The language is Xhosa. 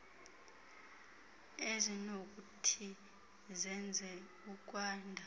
ezinokuthi zenze ukwanda